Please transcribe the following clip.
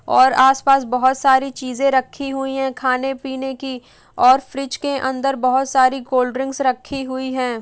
और आसपास बोहोत सारी चीज़ें रखी हई हैं खाने पीने की और फ्रीज़ के अंदर बोहोत सारी कोल्डड्रिंक्स रखी हुई हैं।